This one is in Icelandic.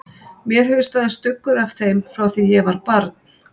Mér hefur staðið stuggur af þeim frá því ég var barn.